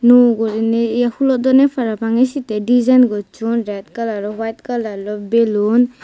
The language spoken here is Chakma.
nw guriney ye hulodonne parapang ay sette design goschon red colourloi white colour belun